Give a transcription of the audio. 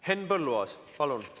Henn Põlluaas, palun!